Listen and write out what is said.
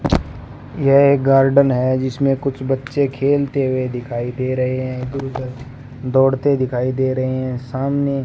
यह एक गार्डन है जिसमें कुछ बच्चे खेलते हुए दिखाई दे रहे हैं दौड़ते दिखाई दे रहे हैं सामने --